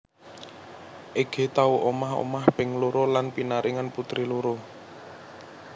Ege tau omah omah ping loro lan pinaringan putri loro